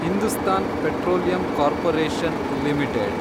Hindustan petroleum corporation limited